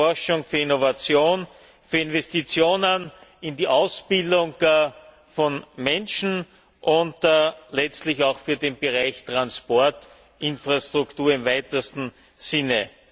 h. für Forschung, Innovation und Investitionen in die Ausbildung von Menschen, und letztlich auch für den Bereich Transport und Infrastruktur im weitesten Sinne.